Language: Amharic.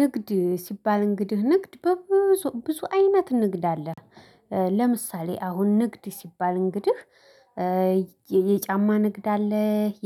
ንግድ ሲባል እንግዲህ ንግድ በብዙ ብዙ አይነት ንግድ አለ። ለምሳሌ አሁን ንግድ ሲባል እንግዲህ የጫማ ንግድ አለ